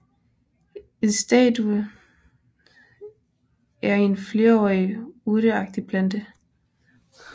En staude er en flerårig urteagtig plante